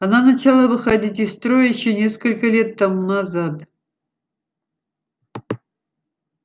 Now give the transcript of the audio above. она начала выходить из строя ещё несколько лет тому назад